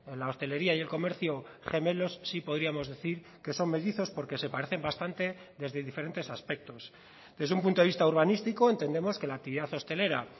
la hostelería y el comercio gemelos sí podríamos decir que son mellizos porque se parecen bastante desde diferentes aspectos desde un punto de vista urbanístico entendemos que la actividad hostelera